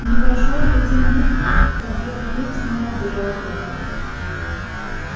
не прошло и пяти минут как белый клык снова убежал от матери